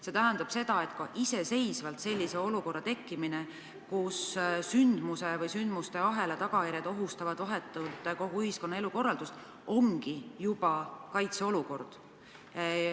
See tähendab seda, et kui tekib selline olukord, kus sündmuse või sündmuste ahela tagajärjed ohustavad vahetult kogu ühiskonna elukorraldust, siis see ongi juba kaitseolukord.